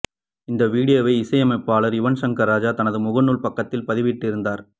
இந்த வீடியோவை இசையமைப்பாளர் யுவன் சங்கர் ராஜா தனது முகநூல் பக்கத்தில் பதிவிட்டிருந்தார்